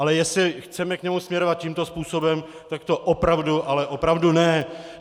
Ale jestli chceme k němu směrovat tímto způsobem, tak to opravdu, ale opravdu ne.